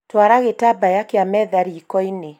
twara gĩtabaya kĩa metha rĩkoinĩ